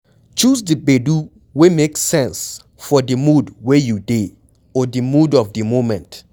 Choose di gbedu wey make sense for di mood wey you dey or di mood of di moment